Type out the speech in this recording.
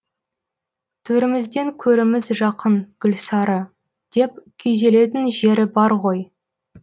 төрімізден көріміз жақын гүлсары деп күйзелетін жері бар ғой